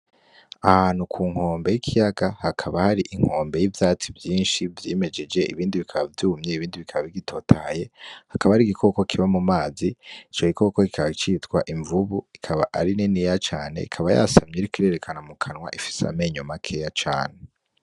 Ahantu ku nkombe y'ikiyaga. Hakaba hari inkombe y'ivyatsi vyinshi vyimejeje, ibindi bikaba vyumye, ibindi bikaba bitotahaye. Hakaba hariho igikoko kiba mu mazi; ico gikoko kikaba citwa imvubu. Ikaba ari niniya cane. Ikaba yasamye iriko irerekana mu kanwa ; ifise amenyo makeya cane.